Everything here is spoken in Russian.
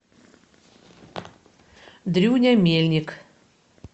дрюня мельник